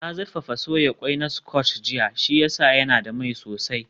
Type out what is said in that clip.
Na zurfafa soya ƙwai na scotch jiya, shi ya sa yana da mai sosai